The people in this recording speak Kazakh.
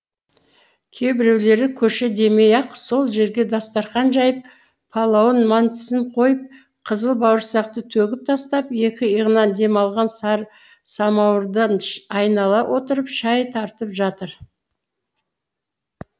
кейбіреулері көше демей ақ сол жерге дастарқан жайып палауын мантысын қойып қызыл бауырсақты төгіп тастап екі иығынан демалған сары самауырдан айнала отырып шай тартып жатыр